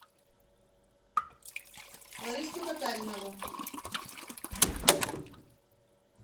лариску татаринову